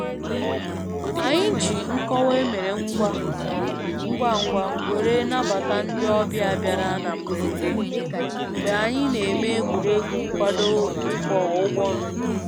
Anyị ji nkọwa emere ngwa ngwa were nabata ndi ọbịa bịara na mgberede mgbe anyị na-eme egwuregwu nkwado ịkwọ ụgbọ mmiri